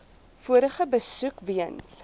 vorige besoek weens